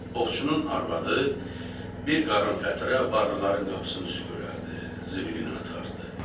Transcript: Ovçunun arvadı bir qarın fətirə varlıların qapısını süpürərdi, zibilini atardı.